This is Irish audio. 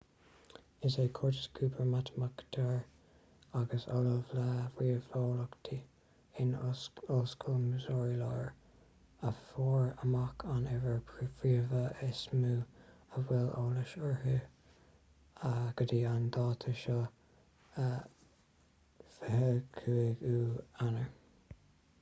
is é curtis cooper matamaiticeoir agus ollamh le ríomheolaíocht in ollscoil missouri láir a fuair amach an uimhir phríomha is mó a bhfuil eolas uirthi go dtí an dáta seo 25ú eanáir